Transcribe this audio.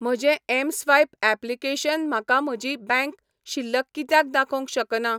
म्हजें mSwipe application म्हाका म्हजी बँक शिल्लक कित्याक दाखोवंक शकना?